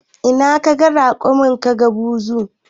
In kaga raƙumi kaga buzu